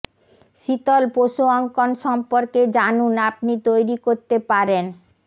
শীতল পশু অঙ্কন সম্পর্কে জানুন আপনি তৈরি করতে পারেন